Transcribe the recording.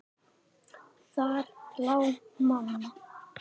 Þar lá mamma.